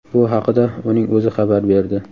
Bu haqida uning o‘zi xabar berdi.